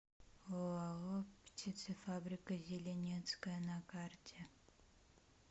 оао птицефабрика зеленецкая на карте